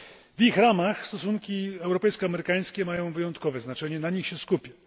W ich ramach stosunki europejsko amerykańskie mają wyjątkowe znaczenie, na nich się skupmy.